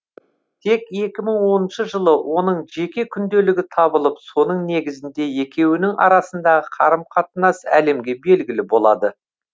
тек екі мың оныншы жылы оның жеке күнделігі табылып соның негізінде екеуінің арасындағы қарым қатынас әлемге белгілі болады